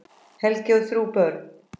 Helgi á þrjú börn.